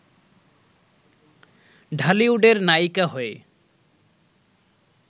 ঢালিউডের নায়িকা হয়ে